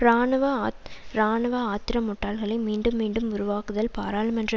இராணுவ ஆத் இராணுவ ஆத்திரமூட்டல்களை மீண்டும் மீண்டும் உருவாக்குதல் பாராளுமன்ற